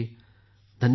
धन्यवाद सर